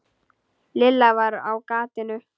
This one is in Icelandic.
Lilla var á gatinu.